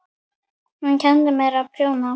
Hún kenndi mér að prjóna.